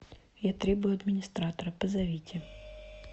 я требую администратора позовите